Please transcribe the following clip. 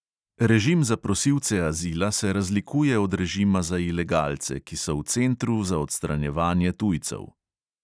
Režim za prosilce azila se razlikuje od režima za ilegalce, ki so v centru za odstranjevanje tujcev.